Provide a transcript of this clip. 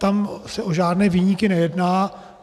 Tam se o žádné viníky nejedná.